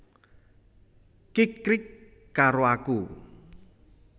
Kikrik karo aku